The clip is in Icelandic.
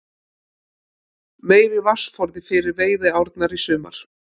Meiri vatnsforði fyrir veiðiárnar í sumar